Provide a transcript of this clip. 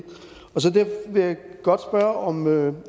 derfor vil jeg godt spørge om